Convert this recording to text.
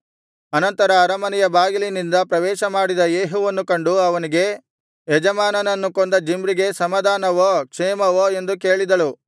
ಅನಂತರ ಅರಮನೆಯ ಬಾಗಿಲಿನಿಂದ ಪ್ರವೇಶಮಾಡಿದ ಯೇಹುವನ್ನು ಕಂಡು ಅವನಿಗೆ ಯಜಮಾನನನ್ನು ಕೊಂದ ಜಿಮ್ರಿಗೆ ಸಮಾಧಾನವೋ ಕ್ಷೇಮವೋ ಎಂದು ಕೇಳಿದಳು